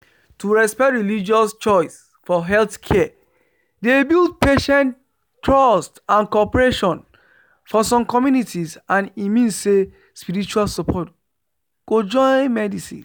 to respect religious choice for healthcare dey build patient trust and cooperation for some communities and e mean say spiritual support go join medicine